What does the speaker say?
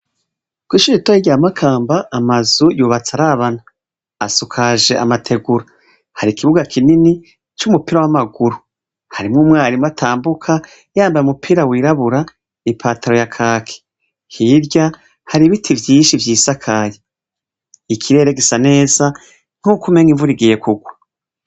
Kwishure ritoyi rya Makamba, amazu yubatse arabana asukaje amategura hari ikibuga kinini c'umupira wamaguru harimwo umwarimu atambuka yambaye umupira w'irabura i pataro ya kaki ,hirya hari ibiti vyinshi vyisakaye, ikirere gisa neza nkuko umengo imvura ihiye kugwa.